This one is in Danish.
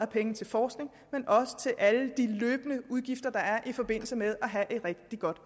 penge til forskning og også til alle de løbende udgifter der er i forbindelse med at have et rigtig godt